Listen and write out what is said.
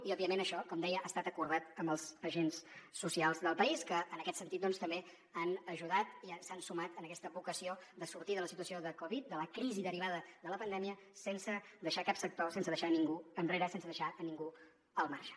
i òbviament això com deia ha estat acordat amb els agents socials del país que en aquest sentit doncs també han ajudat i s’han sumat a aquesta vocació de sortir de la situació de covid de la crisi derivada de la pandèmia sense deixar cap sector sense deixar ningú enrere sense deixar ne ningú al marge